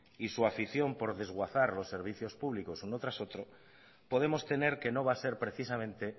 y su afición por desguazar los servicio públicos uno tras otro podemos temer que no va a ser precisamente